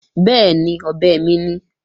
Bẹ́ẹ̀ni, ọ̀bẹ mi ni